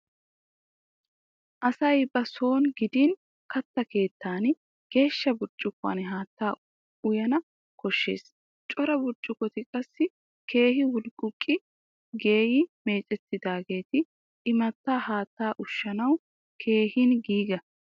Asay ba soon gidin katta keettan geeshsha burccukkuwan haattaa uyana koshshees. Cora burccukkoti qassi keehi wulqquqqi geeyyi meecettidaageti imattaa haattaa ushshanawu keehin giiga.